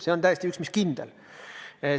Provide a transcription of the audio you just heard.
See on üks mis kindel.